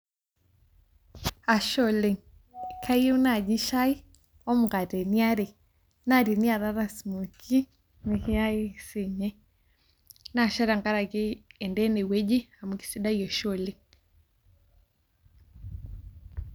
Ashe oleng. Kayieu naji shai, omukateni are. Na teniatata smokie, nikiaki siinye. Na ashe tenkaraki endaa enewueji, amu kesidai oshi oleng.